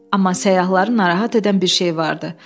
Amma səyyahları narahat edən bir şey vardı.